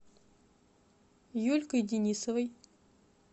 юлькой денисовой